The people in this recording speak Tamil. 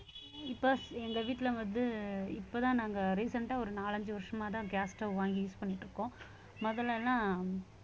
இப்ப எங்க வீட்டுல வந்து இப்பதான் நாங்க recent ஆ ஒரு நாலஞ்சு வருஷமாதான் gas stove வாங்கி use பண்ணிட்டு இருக்கோம் முதல்ல எல்லாம்